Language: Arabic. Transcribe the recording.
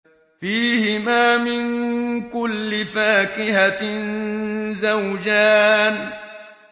فِيهِمَا مِن كُلِّ فَاكِهَةٍ زَوْجَانِ